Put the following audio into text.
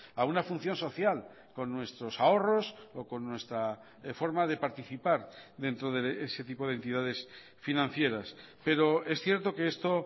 a una función social con nuestros ahorros o con nuestra forma de participar dentro de ese tipo de entidades financieras pero es cierto que esto